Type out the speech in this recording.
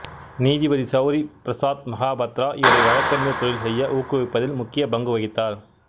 நீதிபதி சௌரி பிரசாத் மகாபத்ரா இவரை வழக்கறிஞர் தொழில் செய்ய ஊக்குவிப்பதில் முக்கிய பங்கு வகித்தார்